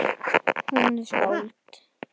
Hún er skáld.